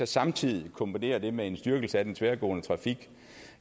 samtidig kombinerer det med en styrkelse af den tværgående trafik